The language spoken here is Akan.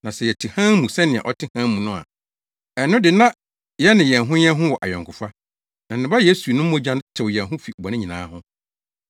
Na sɛ yɛte hann mu sɛnea ɔte hann mu no a, ɛno de na yɛne yɛn ho yɛn ho wɔ ayɔnkofa, na ne Ba Yesu no mogya tew yɛn ho fi bɔne nyinaa ho.